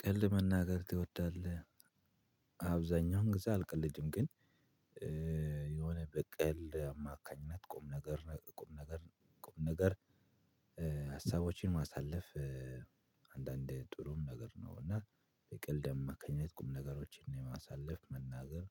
ቀልድ መናገር ትወዳለህ? አብዛኛውን ጊዜ አልቀለድም ግን የሆነ በቀል አማካኝነት ቁም ነገር ቁም ነገር ቁም ነገር ሀሳቦችን ማሳለፍ። አንዳንድ ጥሩም ነገር ነው እና በቀልድ አማካኝነት ቁም ነገሮችን የማሳልፍ መናገር።